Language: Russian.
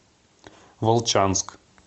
волчанск